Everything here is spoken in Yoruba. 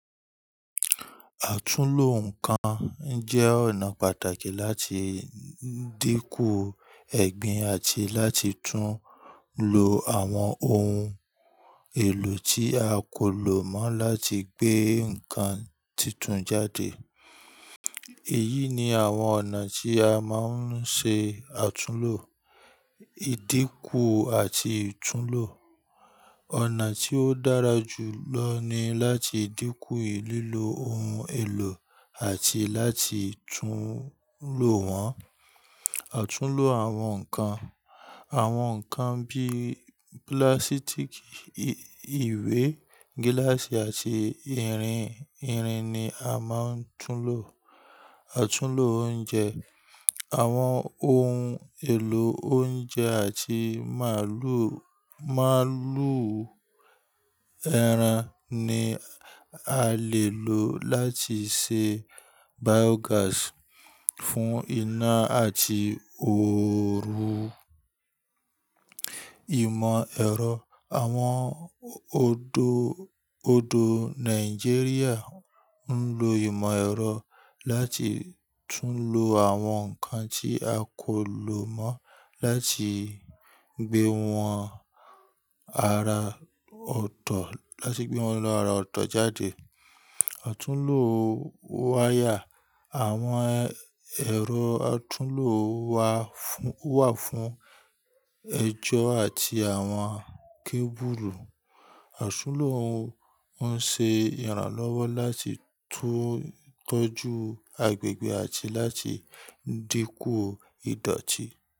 Àtúnlo nǹkan jẹ́ ọ̀nà pàtàkì láti dínkù ẹ̀gbin àti láti tún lo àwọn ohun èlò tí a kò lò mọ́ láti gbé nǹkan títún jáde. Èyí ni àwọn ọ̀nà tí a máa ń ṣe àtúnlo: ìdínkù àti ìtúnlo. Ọ̀nà tí ó dára jù lọ ni láti dínkù lìlò ohun èlò àti láti tún lo wọn. Àtúnlo àwọn nǹkan: àwọn nǹkan bíi púlásítíìkì, ìwé, gíláàsì àti irin. Irin ni a máa ń túnlo. Àtúnlo oúnjẹ: àwọn ohun èlò oúnjẹ àti màálù, màálù ẹran ni a lè lò láti ṣe biógàsì fún iná àti ooru. Ìmọ̀-ẹ̀rọ: àwọn odò, odò Nàìjíríà ń lo ìmọ̀-ẹ̀rọ láti túnlo àwọn nǹkan tí a kò lò mọ́ láti gbé wọn ara ọ̀tọ̀, láti gbé wọn lọ́ra ọ̀tọ̀ jáde. Àtúnlo wáyà: àwọn ẹ̀rọ àtúnlo wà fún, wà fún ẹjọ́ àti àwọn kébùlù. Àtúnlo ń ṣe ìrànlọ́wọ́ láti tọ́jú agbègbè àti láti dínkù ìdọ̀tí.